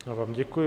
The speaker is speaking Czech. Já vám děkuji.